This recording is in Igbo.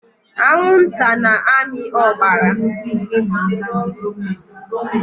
Anwụnta na-amị ọbara.